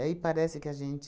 Aí parece que a gente